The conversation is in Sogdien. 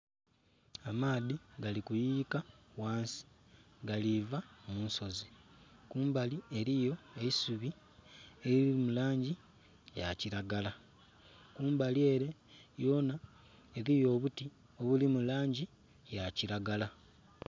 Amaadhi galikuyuyika wansi galiva munsozi kumbali eriyo eisubi eriri mulangi yakiragala, kumbali ere yona eriyo obuti obuli mulangi yakiragala.